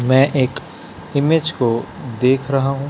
मैं एक इमेज को देख रहा हूं।